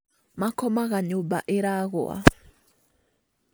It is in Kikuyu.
Makomaga nyũmba iragũa